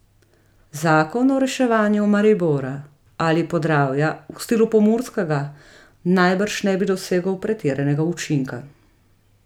Zakon o reševanju Maribora ali Podravja v stilu pomurskega najbrž ne bi dosegel pretiranega učinka.